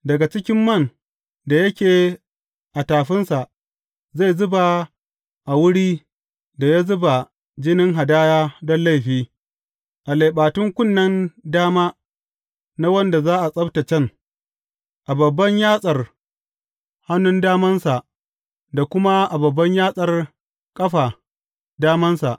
Daga cikin man da yake a tafinsa zai zuba a wuri da ya zuba jinin hadaya don laifi, a leɓatun kunnen dama na wanda za a tsabtaccen, a babban yatsar hannun damansa da kuma a babban yatsar ƙafa damansa.